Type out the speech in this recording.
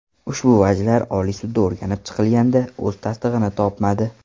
Ushbu vajlar Oliy sudda o‘rganib chiqilganda, o‘z tasdig‘ini topmadi.